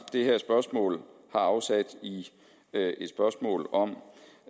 det her spørgsmål afsæt i et spørgsmål om